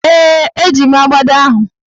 Ee, eji m agbada ahụ.